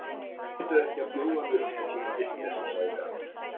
Reyndu ekki að bjóða mér upp á svona vitleysu, sagði hann.